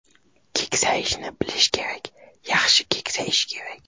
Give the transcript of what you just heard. Keksayishni bilish kerak, yaxshi keksayish kerak.